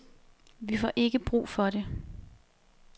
Vi får ikke brug for det.